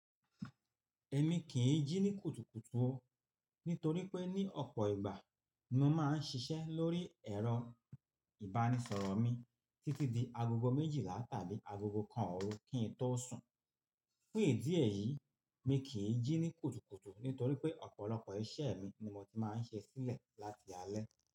Èmi kì í jí ní kùtùkùtù o, nítorí pé ní ọ̀pọ̀ ìgbà ni mo máa ń ṣiṣẹ́ lórí ẹ̀rọ-ìbánisọ̀rọ̀ mi títí di agogo méjìlá tàbí agogo kan òru kí n tó sùn. Fún èdíẹ̀ yìí, mi kì í jí ní kùtùkùtù nítorí pé ọ̀pọ̀lọpọ̀ iṣẹ́ mi ni mo ti máa ń ṣe sílẹ̀ láti alẹ́.